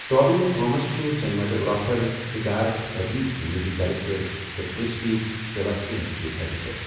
Tobin Thomas چھُ cinematographer, Siddhartha Pradeep چھُ music director تہٕ کِرسٹی سیباسٹیَن چھِ اٮ۪ڈِٹَر۔